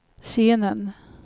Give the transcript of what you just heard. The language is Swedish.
scenen